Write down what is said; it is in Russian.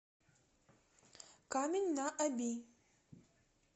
камень на оби